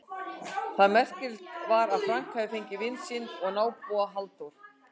Það merkilega var að Frank hafði fengið vin sinn og nábúa, Halldór